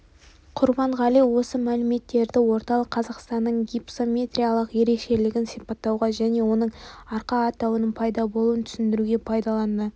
құрбанғали осы мәліметтерді орталық қазақстанның гипсометриялық ерекшелігін сипаттауға және оның арқа атауының пайда болуын түсіндіруге пайдаланады